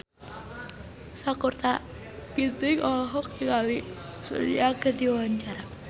Sakutra Ginting olohok ningali Sun Yang keur diwawancara